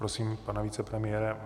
Prosím pana vicepremiéra.